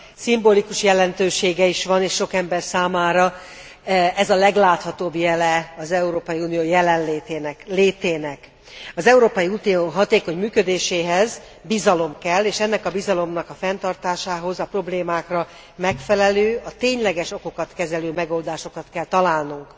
Szimbolikus jelentősége is van, és sok ember számára ez a legláthatóbb jele az Európai Unió létének. Az Európai Unió hatékony működéséhez bizalom kell, és ennek a bizalomnak a fenntartásához a problémákra megfelelő, a tényleges okokat kezelő megoldásokat kell találnunk.